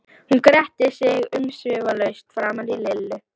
Hún gretti sig umsvifalaust framan í Lillu.